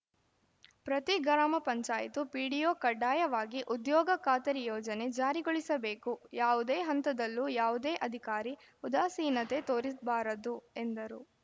ಪ್ರತಿ ಗ್ರಾಮ ಪಂಚಾಯತ್ ಪಿಡಿಒ ಕಡ್ಡಾಯವಾಗಿ ಉದ್ಯೋಗ ಖಾತರಿ ಯೋಜನೆ ಜಾರಿಗೊಳಿಸಬೇಕು ಯಾವುದೇ ಹಂತದಲ್ಲೂ ಯಾವುದೇ ಅಧಿಕಾರಿ ಉದಾಸೀನತೆ ತೋರಿಸಬಾರದು ಎಂದರು